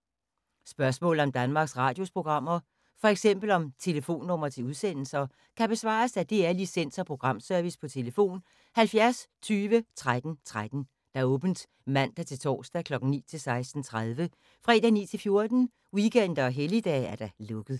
Spørgsmål om Danmarks Radios programmer, f.eks. om telefonnumre til udsendelser, kan besvares af DR Licens- og Programservice: tlf. 70 20 13 13, åbent mandag-torsdag 9.00-16.30, fredag 9.00-14.00, weekender og helligdage: lukket.